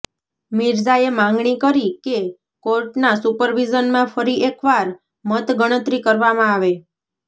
મિર્ઝાએ માગણી કરી કે કોર્ટના સુપરવિઝનમાં ફરી એકવાર મત ગણતરી કરવામાં આવે